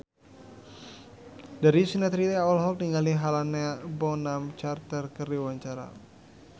Darius Sinathrya olohok ningali Helena Bonham Carter keur diwawancara